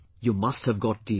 You must have got TB